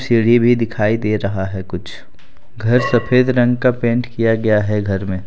सीढ़ी भी दिखाई दे रहा है कुछ घर सफेद रंग का पेंट किया गया है घर में।